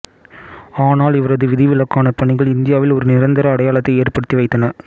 ஆனால் இவரது விதிவிலக்கான பணிகள் இந்தியாவில் ஒரு நிரந்தர அடையாளத்தை ஏற்படுத்தி வைத்தன